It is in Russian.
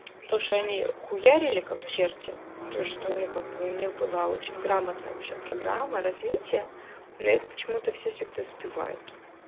то что они хуярили как черти это что ну как бы у них была очень грамотно вообще программа развития но это почему-то всегда сбивают